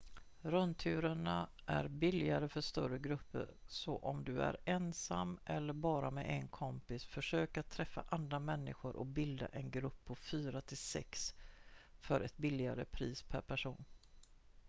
rundturerna är billigare för större grupper så om du är ensam eller bara med en kompis försök att träffa andra människor och bilda en grupp på fyra till sex för ett billigare pris per person